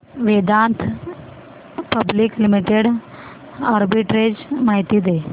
Vedanta public limited arbitrage माहिती दे